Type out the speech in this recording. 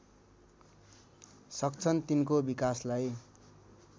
सक्छन् तिनको विकासलाई